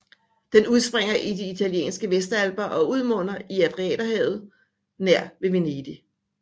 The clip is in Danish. Den udspringer i de italienske Vestalper og udmunder i Adriaterhavet nær ved Venedig